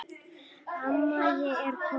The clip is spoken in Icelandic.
Amma ég er komin